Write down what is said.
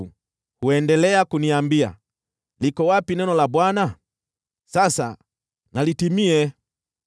Wao huendelea kuniambia, “Liko wapi neno la Bwana ? Sasa na litimie!”